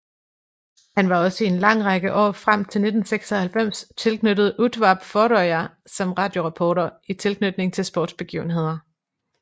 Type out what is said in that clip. Han var også i en lang række år frem til 1996 tilknyttet Útvarp Føroya som radioreporter i tilknytning til sportsbegivenheder